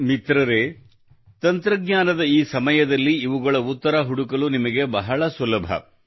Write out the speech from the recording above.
ಮಿತ್ರರೇ ತಂತ್ರಜ್ಞಾನದ ಈ ಸಮಯದಲ್ಲಿ ಇವುಗಳ ಉತ್ತರ ಹುಡುಕಲು ನಿಮಗೆ ಬಹಳ ಸುಲಭವಾಗಿದೆ